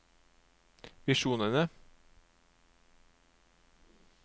visjonene